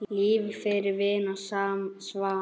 Lifa fyrir vín og svanna.